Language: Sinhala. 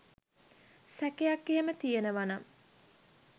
සැකයක් එහෙම තියෙනව නම්